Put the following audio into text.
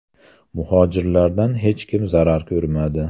Muhojirlardan hech kim zarar ko‘rmadi.